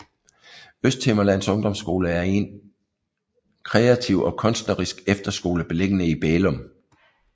Østhimmerlands Ungdomsskole er en er en kreativ og kunstnerisk efterskole beliggende i Bælum